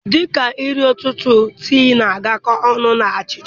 Dị ka nri ụtụtụ tii na-agakọ ọnụ na achịcha